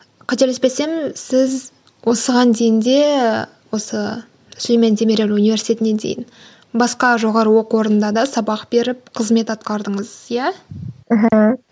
қателеспесем сіз осыған дейін де осы сүлеймен демирель университетіне дейін басқа жоғары оқу орнында да сабақ беріп қызмет атқардыңыз иә